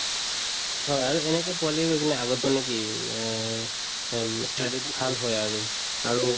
হয়, আৰু এনেকে পোৱালিতোৰ তুমি আগত মানে কি উম অহ অম্ ই study ত ভাল হয় আৰু আৰু